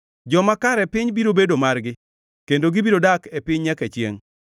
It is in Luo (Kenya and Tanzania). joma kare piny biro bedo margi kendo gibiro dak e piny nyaka chiengʼ.